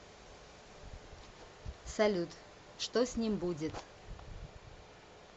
салют что с ним будет